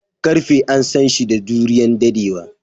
Karfe an San shi da juriyan daddewa.